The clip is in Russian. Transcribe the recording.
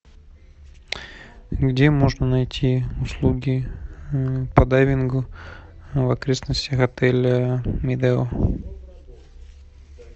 где можно найти услуги по дайвингу в окрестностях отеля медео